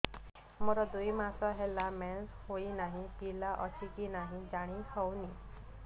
ମୋର ଦୁଇ ମାସ ହେଲା ମେନ୍ସେସ ହୋଇ ନାହିଁ ପିଲା ଅଛି କି ନାହିଁ ଜାଣି ହେଉନି